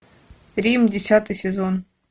рим десятый сезон